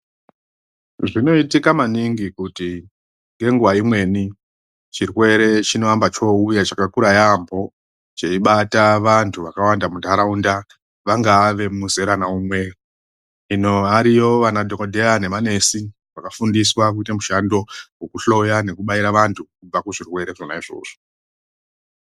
Zvinoitika maningi kuti ngenguwa imweni chirwere chinoamba chouya chakakura yaambo cheibata vandu vakawanda mundaraunda vangave vemuzera naunwe hino variyo vanadhokodheya nemanesi vakafundiswa kuita mushando wekuhloya nekubaira vandu kubva kuzvirwere zvona izvozvo.